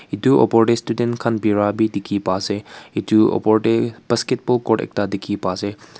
ed opor tae estuden khan bi birai la dikhiase.